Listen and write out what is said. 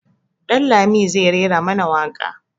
Dan lami zai rera mana waƙa.